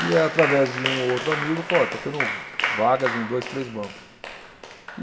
E através de um ou outro amigo, falou, olha, está tendo vagas em dois, três bancos.